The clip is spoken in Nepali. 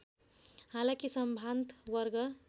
हालाकि सम्भान्त वर्ग